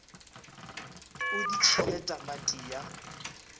o di tšhele tamati ya